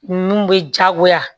Ninnu bɛ jagoya